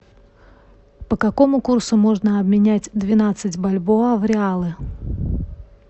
по какому курсу можно обменять двенадцать бальбоа в реалы